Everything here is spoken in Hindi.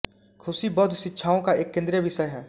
खुशी बौद्ध शिक्षाओं का एक केंद्रीय विषय है